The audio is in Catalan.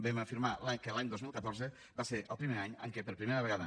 vam afirmar que l’any dos mil catorze va ser el primer any en què per primera vegada